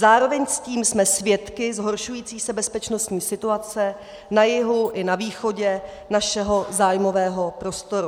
Zároveň s tím jsme svědky zhoršující se bezpečnostní situace na jihu i na východě našeho zájmového prostoru.